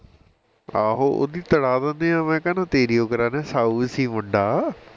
ਆਹੋ ਉਹਦੀ ਤੁੜਾ ਦਿੰਦੇ ਆ ਮੈਂ ਕਹਿੰਦਾ ਤੇਰੀ ਯੋ ਕਰਾ ਦਿੰਦੇ ਆ ਸਾਊ ਸੀ ਮੁੰਡਾ